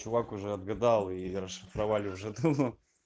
чувак уже отгадал и расшифровали уже давно